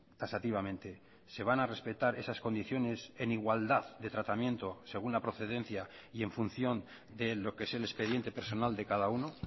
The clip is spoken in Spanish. taxativamente se van a respetar esas condiciones en igualdad de tratamiento según la procedencia y en función de lo que es el expediente personal de cada uno